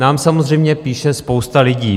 Nám samozřejmě píše spousta licí.